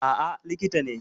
Aa, likita ne